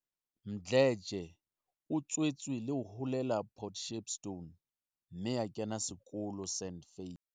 Mdletshe o tswetswe le ho holela Port Shepstone mme a kena sekolo St Faiths.